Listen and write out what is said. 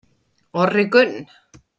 Orri Gunn